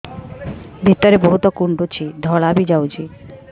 ଭିତରେ ବହୁତ କୁଣ୍ଡୁଚି ଧଳା ବି ଯାଉଛି